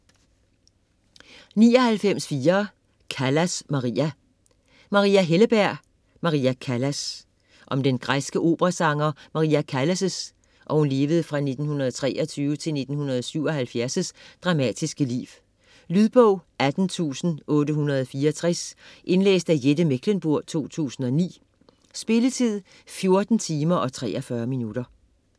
99.4 Callas, Maria Helleberg, Maria: Maria Callas Om den græske operasanger Maria Callas' (1923-1977) dramatiske liv. Lydbog 18864 Indlæst af Jette Mechlenburg, 2009. Spilletid: 14 timer, 43 minutter.